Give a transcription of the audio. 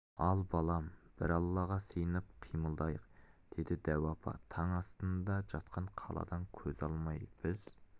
ал балам бір аллаға сиынып қимылдайық деді дәу апа таң астында жатқан қаладан көз алмай біз